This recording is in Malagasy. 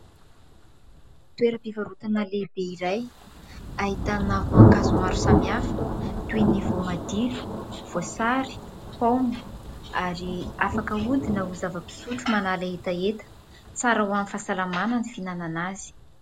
Toeram-pivarotana lehibe iray. Ahitana voankazo maro samihafa toy ny voamadilo, voasary paoma ary afaka ahodina ho zava-pisotro manala hetaheta ; tsara ho any fahasalamana ny fihinanana azy.